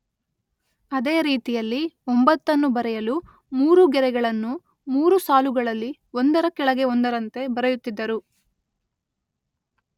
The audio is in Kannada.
ಅದೇ ರೀತಿಯಲ್ಲಿ ಒಂಬತ್ತನ್ನು ಬರೆಯಲು ಮೂರು ಗೆರೆಗಳನ್ನು ಮೂರು ಸಾಲುಗಳಲ್ಲಿ ಒಂದರ ಕೆಳಗೆ ಒಂದರಂತೆ ಬರೆಯುತ್ತಿದ್ದರು..